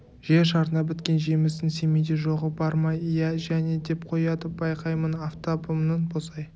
жер шарына біткен жемістің семейде жоғы бар ма иә және деп қояды байқаймын афтабымның босай